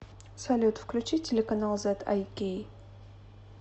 салют включи телеканал зэд ай кей